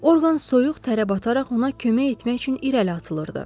Orqan soyuq tərə bəbataraq ona kömək etmək üçün irəli atılırdı.